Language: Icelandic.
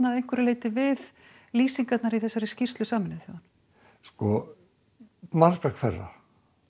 að einhverju leyti við lýsingar úr skýrslu Sameinuðu þjóðanna sko margra hverra